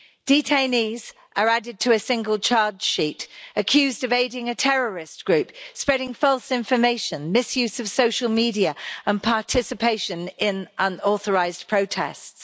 Detainees are added to a single charge sheet, accused of aiding a terrorist group, spreading false information, misuse of social media and participation in unauthorised protests.